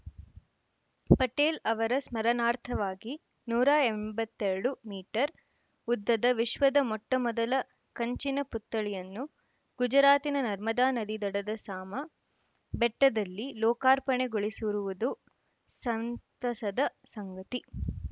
ಪಟೇಲ್‌ ಅವರ ಸ್ಮರಣಾರ್ಥವಾಗಿ ನೂರ ಎಂಬತ್ತ್ ಎರಡು ಮೀಟರ್‌ ಉದ್ದದ ವಿಶ್ವದ ಮೊಟ್ಟಮೊದಲ ಕಂಚಿನ ಪುತ್ಥಳಿಯನ್ನು ಗುಜರಾತಿನ ನರ್ಮದಾ ನದಿ ದಡದ ಸಾಮ ಬೆಟ್ಟದಲ್ಲಿ ಲೋಕಾರ್ಪಣೆಗೊಳಿಸಿರುವುದು ಸಂತಸದ ಸಂಗತಿ